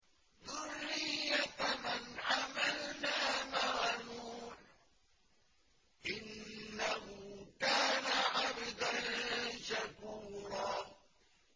ذُرِّيَّةَ مَنْ حَمَلْنَا مَعَ نُوحٍ ۚ إِنَّهُ كَانَ عَبْدًا شَكُورًا